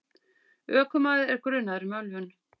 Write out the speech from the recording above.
Ökumaður er grunaður um ölvun.